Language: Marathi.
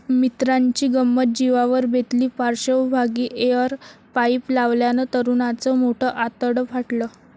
मित्राची गंमत जिवावर बेतली, पार्श्वभागी एअर पाईप लावल्यानं तरुणाचं मोठं आतडं फाटलं